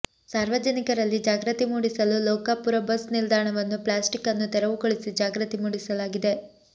ಸಾರ್ವಜನಿಕರಲ್ಲಿ ಜಾಗೃತಿ ಮೂಡಿಸಲು ಲೋಕಾಪುರ ಬಸ್ ನಿಲ್ದಾಣವನ್ನು ಪ್ಲಾಸ್ಟಿಕನ್ನು ತೆರವುಗೊಳಿಸಿ ಜಾಗ್ರತಿ ಮೂಡಿಸಲಾಗಿದೆ